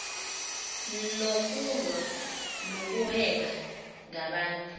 nokulwa nokuhweba ngabantu